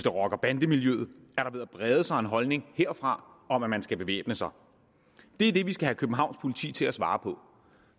rocker og bandemiljøet er der ved at brede sig en holdning herfra om at man skal bevæbne sig det er det vi skal have københavns politi til at svare på